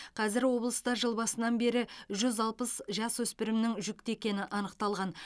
қазір облыста жыл басынан бері жүз алпыс жасөспірімнің жүкті екені анықталған